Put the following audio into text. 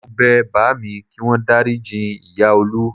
Mo bẹ bàámi kí wọ́n dáríji ìyá Olú